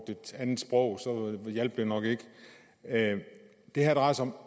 et andet sprog hjalp det nok ikke det her drejer sig om